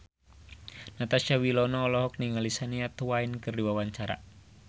Natasha Wilona olohok ningali Shania Twain keur diwawancara